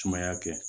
Sumaya kɛ